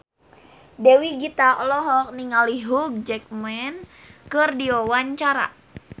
Dewi Gita olohok ningali Hugh Jackman keur diwawancara